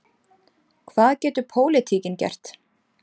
Hvað getur pólitíkin gert?